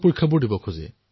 পৰীক্ষা দিব বিচাৰে